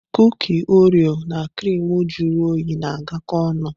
Kuki Orio na criimu juru oyi na-agakọ ọnụ.